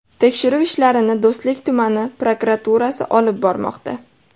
Tekshiruv ishlarini Do‘stlik tumani prokuraturasi olib bormoqda.